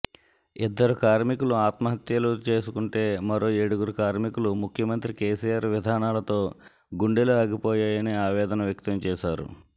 ఇద్దరు కార్మికులు ఆత్మహత్యలు చేసుకుంటే మరో ఏడుగురు కార్మికులు ముఖ్యమంత్రి కేసీఆర్ విధానాలతో గుండెలు ఆగిపోయాయని ఆవేదన వ్యక్తం చేశారు